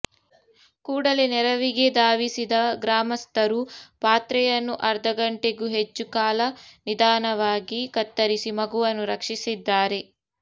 ಕೂಡಲೇ ನೆರವಿಗೆ ಧಾವಿಸಿದ ಗ್ರಾಮಸ್ಥರು ಪಾತ್ರೆಯನ್ನು ಅರ್ಧಗಂಟೆಗೂ ಹೆಚ್ಚು ಕಾಲ ನಿಧಾನವಾಗಿ ಕತ್ತರಿಸಿ ಮಗುವನ್ನು ರಕ್ಷಿಸಿದ್ದಾರೆ